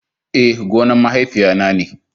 Eh, gonan mahaifiya na ne.